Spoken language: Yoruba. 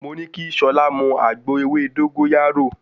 Mo ní kí Ṣọlá mú àgbo ewé dógóyárò.